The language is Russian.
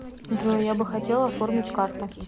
джой я бы хотела оформить карту